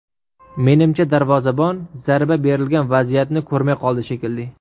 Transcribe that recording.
Menimcha, darvozabon zarba berilgan vaziyatni ko‘rmay qoldi shekilli.